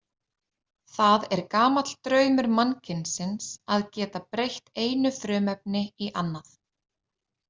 Það er gamall draumur mannkynsins að geta breytt einu frumefni í annað.